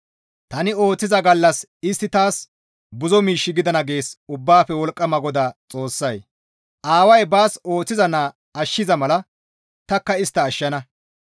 «Tani ooththiza gallas istti taas buzo miish gidana» gees Ubbaafe Wolqqama GODAA Xoossay; «Aaway baas ooththiza naa ashshiza mala tanikka istta ashshana.